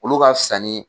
Olu ka fisa ni